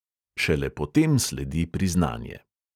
Šele potem sledi priznanje.